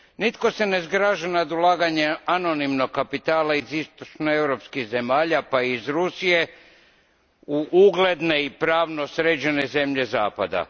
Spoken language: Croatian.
Nitko se ne zgraža nad ulaganjem anonimnog kapitala iz istočnoeuropskih zemalja, pa i iz Rusije, u ugledne i pravno sređene zemlje Zapada.